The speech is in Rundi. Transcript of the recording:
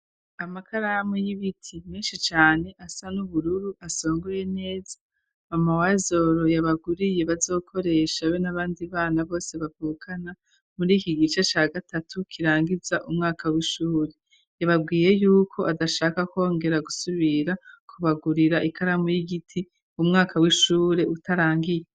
Amakaramu y'ibiti menshi cane asa n'ubururu asongoye neza mama wa Azoro yabaguriye bazokoresha be n'abandi bana bose bavukana muri iki gice ca gatatu kirangiza umwaka w'ishuri, yababwiye yuko adashaka kongera gusubira kubagurira ikaramu y'igiti umwaka w'ishure utarangiye.